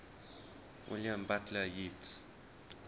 william butler yeats